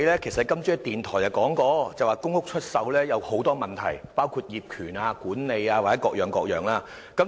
今天你在電台節目中表示，公屋出售有很多問題，包括業權、管理及各樣問題。